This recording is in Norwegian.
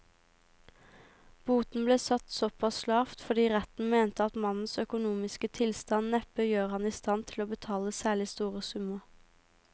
Boten ble satt såpass lavt fordi retten mente at mannens økonomiske tilstand neppe gjør ham i stand til å betale særlig store summer.